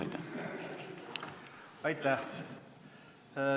Aitäh!